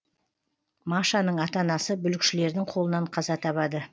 машаның ата анасы бүлікшілердің қолынан қаза табады